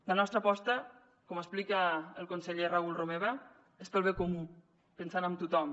la nostra aposta com explica el conseller raül romeva és pel bé comú pensant en tothom